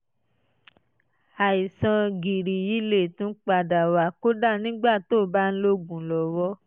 àìsàn gìrì yìí lè tún padà wá kódà nígbà tí ó bá ń lo oògùn lọ́wọ́